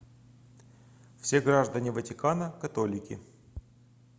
все граждане ватикана католики